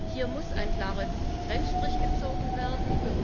Hier muss ein klarer Trennstrich gezogen werden.